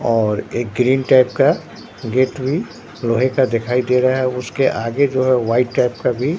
और एक green type का गेट भी लोहे का दिखाई दे रहा है उसके आगे जो है व्हाइट टाइप का भी--